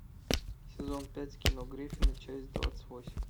сезон пять кино гриффины часть двадцать восемь